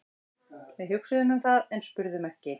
Við hugsuðum um það en spurðum ekki.